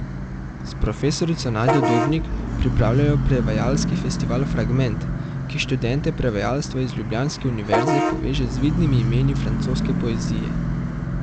S profesorico Nadjo Dobnik pripravljajo prevajalski festival Fragment, ki študente prevajalstva z ljubljanske univerze poveže z vidnimi imeni francoske poezije.